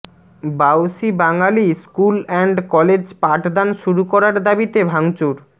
Bausi Bangali school and college পাঠদান শুরু করার দাবিতে ভাঙচুর